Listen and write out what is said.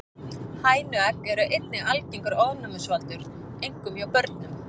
Hænuegg eru einnig algengur ofnæmisvaldur, einkum hjá börnum.